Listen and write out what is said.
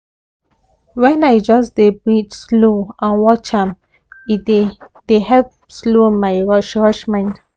when i just dey breathe slow and watch am e dey dey help slow my rush rush mind